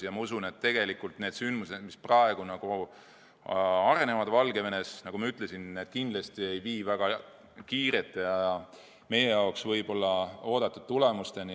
Ma usun, et need sündmused, mis praegu Valgevenes arenevad, kindlasti ei vii väga kiirete ja meie jaoks oodatud tulemusteni.